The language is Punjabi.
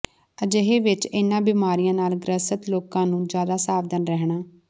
ਅਜਿਹੇ ਵਿੱਚ ਇਨ੍ਹਾਂ ਬਿਮਾਰੀਆਂ ਨਾਲ ਗ੍ਰਸਤ ਲੋਕਾਂ ਨੂੰ ਜ਼ਿਆਦਾ ਸਾਵਧਾਨ ਰਹਿਣਾ